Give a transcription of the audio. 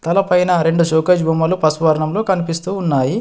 తలపైన రెండు షోకేష్ బొమ్మలు పసుపు వర్ణంలో కనిపిస్తూ ఉన్నాయి.